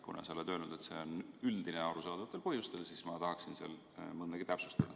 Kuna sa oled öelnud, et see on arusaadavatel põhjustel üldine, siis ma tahaksin seal mõndagi täpsustada.